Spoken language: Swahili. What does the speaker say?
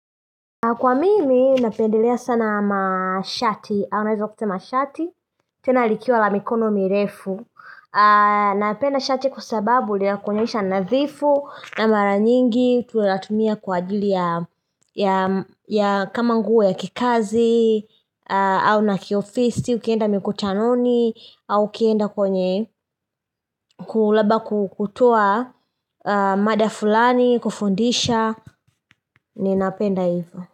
Kwa mimi, napendelea sana mashati, au naeza kusema shati, tena likiwa la mikono mirefu, napenda shati kwa sababu linakuonyesha nadhifu, na mara nyingi, tunatumia kwa ajili ya ya kama nguo ya kikazi, au na kiofisi, ukienda mikutanoni, au ukienda kwenye, labda kutoa mada fulani, kufundisha, ninapenda hivo.